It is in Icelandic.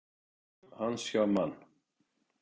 Ár hans hjá Man.